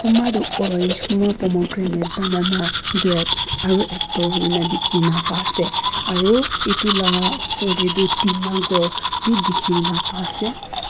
kumba toh orange pomegranate banana grapes aru apple hoi ne dikhi na pai ase aru etu la oser te tu tina ghor bi dikhi kene pa ase.